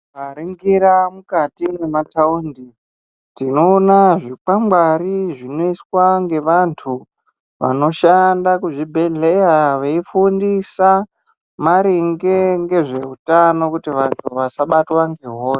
Tikaringira mukati mwemataundi tinoona zvikwangwari Zvinoiswa ngevantu vanoshanda kuzvibhedhleya veifundisa maringe ngezveutano kuti vantu vasabatwa ngehosha.